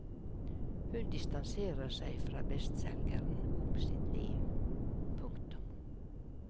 Hun distanserer seg fra bestselgeren om sitt liv. punktum